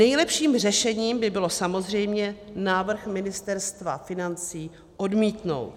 Nejlepším řešením by bylo samozřejmě návrh Ministerstva financí odmítnout.